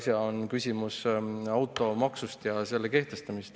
See on küsimus automaksust ja selle kehtestamisest.